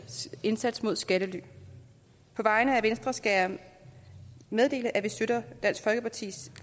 indsats mod skattely på vegne af venstre skal jeg meddele at vi støtter dansk folkepartis